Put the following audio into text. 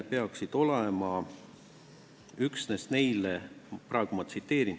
Hüvitis makstakse, ma tsiteerin: "...